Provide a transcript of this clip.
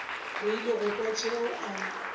rile go kwa tšeo a